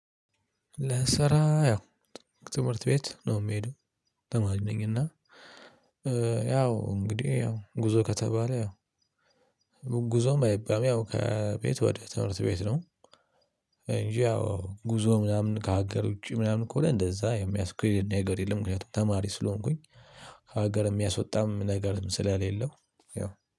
ለስራ ያው ትምህርት ቤት ነው የምሄደው ተማሪ ነኝ። እና ያው እንግዲህ ያው ጉዞ ከተባለ ያው ጉዞም አይባልም ያው ከቤት ወደ ትምህርት ቤት ነው። እንጂ ያው ጉዞ ምናምን ከሀገር ውጪ ምናምን ከሆነ እንደዛ የሚያስከደኝ ነገር የለም። ምክንያቱም ተማሪ ስለሆንኩኝ ሀገር የሚያስወጣም ነገር ስለሌለው ያው